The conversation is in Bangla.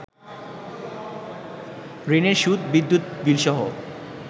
ঋণের সুদ, বিদ্যুৎ বিলসহ